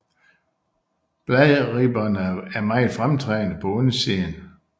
Bladribberne er meget fremtrædende på undersiden